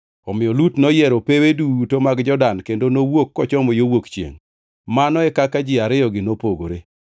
Omiyo Lut noyiero pewe duto mag Jordan kendo nowuok kochomo yo wuok chiengʼ. Mano e kaka ji ariyogi nopogore.